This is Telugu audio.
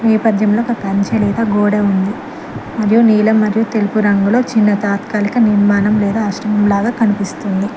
ఈ నేపథ్యంలో ఒక కంచె లేదా ఒక గోడా ఉంది మరియు నీలం మరియు తెలుపు రంగులో చిన్న తాత్కాలిక నిర్మాణం లేదా ఆశ్రమం లాగా కనిపిస్తుంది.